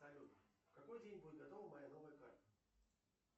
салют в какой день будет готова моя новая карта